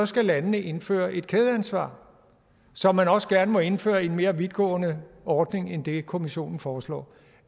skal landene indføre et kædeansvar så man også gerne må indføre en mere vidtgående ordning end det kommissionen foreslår